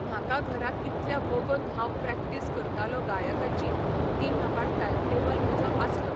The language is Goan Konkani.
म्हाका घरा कितल्या वोगोत हांव प्रॅक्टीस करतालों गायकाची, ती म्हाका टायम टॅबल म्हजो आसलो.